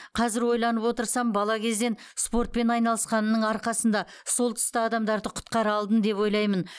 қазір ойланып отырсам бала кезден спортпен айналысқанымның арқасында сол тұста адамдарды құтқара алдым деп ойлаймын